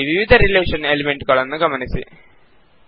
ಇಲ್ಲಿ ವಿವಿಧ relation element ಗಳನ್ನು ಗಮನಿಸಿ